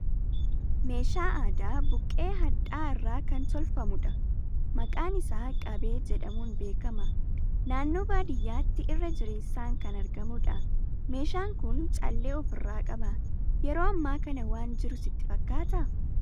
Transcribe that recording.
Meeshaa aadaa buqqee hadhaa'aa irraa kan tolfamu dha. Maqaan isaa qabee jedhamuun beekama. Naannoo baadiyaatti irra jireessaan kan argamudha. Meeshaan kun callee of irraa qaba. Yeroo ammaa kana waan jiru sitti fakkaata?